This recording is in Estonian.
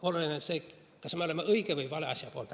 Oluline on see, kas me oleme õige või vale asja poolt.